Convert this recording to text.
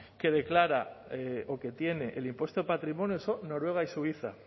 que declara o que tiene el impuesto de patrimonio son noruega y suiza